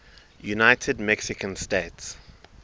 united mexican states